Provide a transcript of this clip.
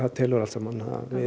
telur allt saman